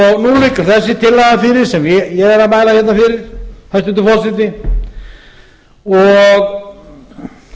liggur þessi tillaga fyrir sem ég er að mæla hérna fyrir hæstvirtur forseti og